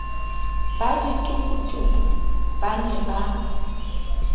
ba ditokotoko ba ne ba